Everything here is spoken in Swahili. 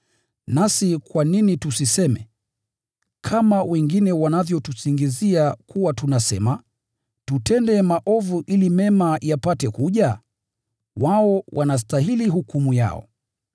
Nasi kwa nini tusiseme, kama wengine wanavyotusingizia kuwa tunasema, “Tutende maovu ili mema yapate kuja?” Wao wanastahili hukumu yao.